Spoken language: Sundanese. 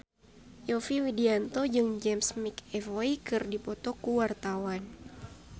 Yovie Widianto jeung James McAvoy keur dipoto ku wartawan